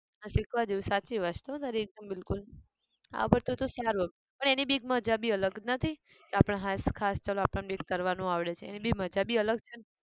આ શીખવા જેવું છે સાચી વાત છે હો તારી એકદમ બિલકુલ આવડતું હોય તો સારું એમ પણ એની બી એક માજા બી અલગ તો નથી આપણે હાશ ખાસ ચાલો આપણને બી એક તરવાનું આવડે છે. એની બી મજા બી અલગ છે ને